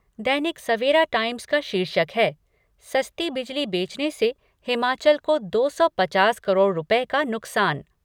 दैनिक Savera Times का शीर्षक है सस्ती बिजली बेचने से हिमाचल को दो सौ पचास करोड़ रुपये का नुकसान।